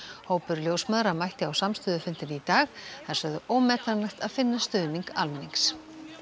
hópur ljósmæðra mætti á samstöðufundinn í dag þær sögðu ómetanlegt að finna stuðning almennings